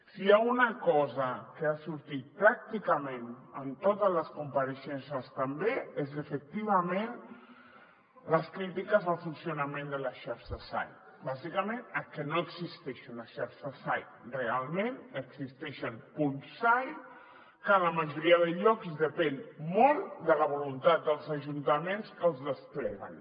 si hi ha una cosa que ha sortit pràcticament en totes les compareixences també és efectivament les crítiques al funcionament de la xarxa sai bàsicament perquè no existeix una xarxa sai realment existeixen punts sai que a la majoria de llocs depenen molt de la voluntat dels ajuntaments que els despleguen